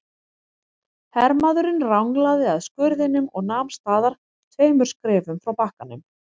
Hermaðurinn ranglaði að skurðinum og nam staðar tveimur skrefum frá bakkanum.